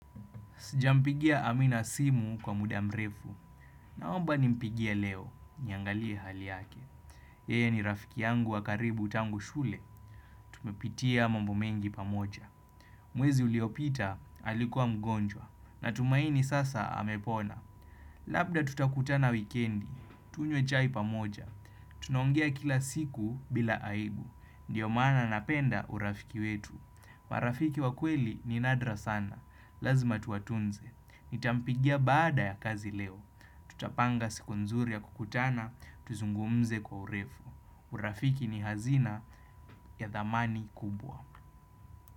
Sijampigia Amina simu kwa muda mrefu. Naomba nimpigia leo. Niangalie hali yake. Yeye ni rafiki yangu wa karibu tangu shule. Tumepitia mambo mengi pamoja. Mwezi uliopita alikuwa mgonjwa. Na tumaini sasa amepona. Labda tutakutana wikendi. Tunywe chai pamoja. Tunaongea kila siku bila aibu. Ndio maana napenda urafiki wetu. Marafiki wakweli ni nadra sana, lazima tuwatunze, nitampigia baada ya kazi leo, tutapanga siku nzuri ya kukutana, tuzungumze kwa urefu, urafiki ni hazina ya dhamani kubwa.